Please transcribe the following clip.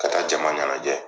Ka taa jama ɲanajɛ